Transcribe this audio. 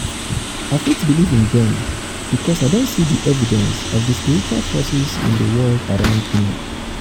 i fit believe in dem because i don see di evidence of di spiritual forces in di world around me.